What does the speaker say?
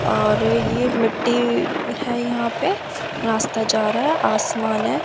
और ये मिट्टी है यहां पे रास्ता जा रहा है आसमान हैं।